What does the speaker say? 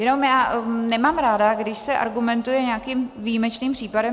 Jenom já nemám ráda, když se argumentuje nějakým výjimečným případem.